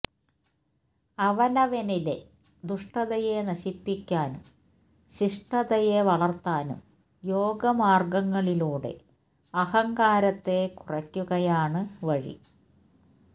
അവനവനിലെ ദുഷ്ടതയെ നശിപ്പിക്കാനും ശിഷ്ടതയെ വളർത്താനും യോഗമാർഗ്ഗങ്ങളിലൂടെ അഹംകാരത്തെ കുറയ്ക്കുകയാണ് വഴി